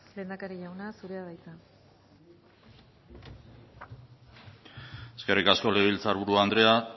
lehendakari jauna zurea da hitza eskerrik asko legebiltzar buru andrea